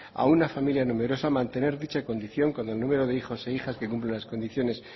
a una familia numerosa mantener dicha condición con el número de hijos e hijas que cumplan las condiciones